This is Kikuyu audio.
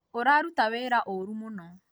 ũraruta wĩra ũru mũno